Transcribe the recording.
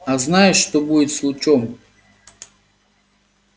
а знаешь что будет с лучом